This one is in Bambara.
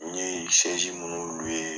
N ye minnu